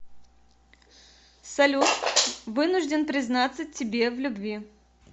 салют вынужден признаться тебе в любви